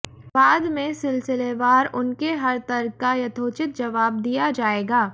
बाद में सिलसिलेवार उनके हर तर्क का यथोचित जवाब दिया जायेगा